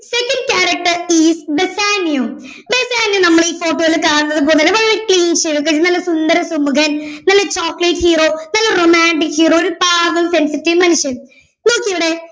second character is Bassanio Bassanio നമ്മളീ photo യിൽ കാണുന്നത് പോലൊരു വളരെ clean shave ഒക്കെയായിട്ട് നല്ല സുന്ദരസുമുഖൻ നല്ല chocolate hero നല്ല romantic hero ഒരു പാവം sensitive മനുഷ്യൻ നോക്കിയേ ഇവിടെ